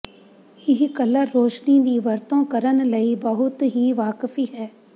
ਇਹ ਕਲਰ ਰੋਸ਼ਨੀ ਦੀ ਵਰਤੋਂ ਕਰਨ ਲਈ ਬਹੁਤ ਹੀ ਵਾਕਫੀ ਹੈ